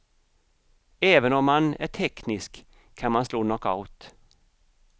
Även om man är teknisk kan man slå knockout.